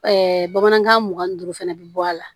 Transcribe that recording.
bamanankan mugan ni duuru fana bɛ bɔ a la